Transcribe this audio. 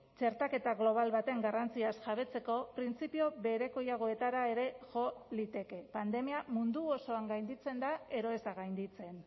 txertaketa global baten garrantziaz jabetzeko printzipio berekoiagoetara ere jo liteke pandemia mundu osoan gainditzen da edo ez da gainditzen